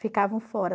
Ficavam fora.